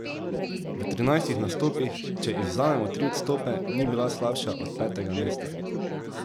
V trinajstih nastopih, če izvzamemo tri odstope, ni bila slabša od petega mesta!